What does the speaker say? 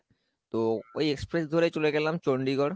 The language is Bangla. তো ওই express ধরে চলে গেলাম চন্ডিগড়